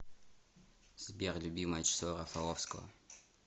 сбер любимое число рафаловского